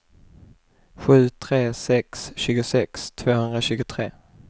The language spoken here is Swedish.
sju tre sex tre tjugosex tvåhundratjugotre